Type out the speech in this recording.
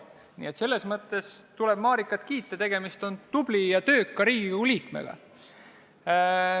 Nii et selles mõttes tuleb Marikat kiita, tegemist on tubli ja tööka Riigikogu liikmega.